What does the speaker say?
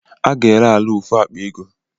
A ga-ere ala a ofu akpa ego